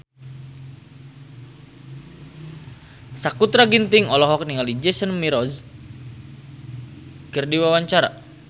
Sakutra Ginting olohok ningali Jason Mraz keur diwawancara